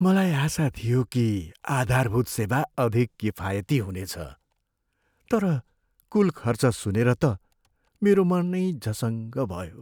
मलाई आशा थियो कि आधारभूत सेवा अधिक किफायती हुनेछ, तर कुल खर्च सुनेर त मेरो मनै झसङ्ग भयो।